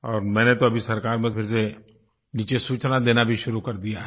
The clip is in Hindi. और मैंने तो अभी सरकार में फिर से नीचे सूचना देना भी शुरू कर दिया है